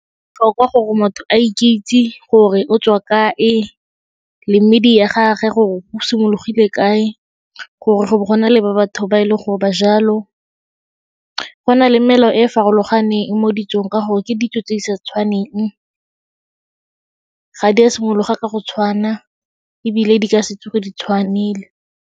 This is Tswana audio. Botlhokwa gore motho a ikitse gore o tswa kae, le medi ya gage gore bo simologile kae gore go bo go nale batho ba e leng gore ba jalo. Go na le melao e e farologaneng mo ditsong ka gore ke ditso tse di sa tshwaneng, ga di a simologa ka go tshwana ebile di ka se tsoge di tshwanile.